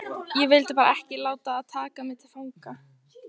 Ég vildi bara ekki láta taka mig til fanga